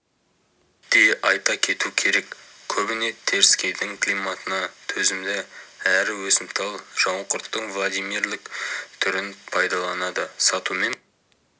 де айта кету керек көбіне теріскейдің климатына төзімді әрі өсімтал жауынқұрттың владимирлік түрін пайдаланады сатумен